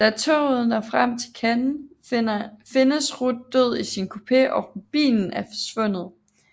Da toget når frem til Cannes findes Ruth død i sin kupé og rubinen er forsvundet